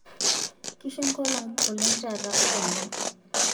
kishu ekolong oleng taata oleng